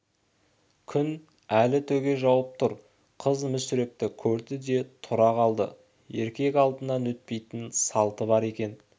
күн әлі төге жауып тұр қыз мүсірепті көрді де тұра қалды еркек алдынан өтпейтін салты бар екен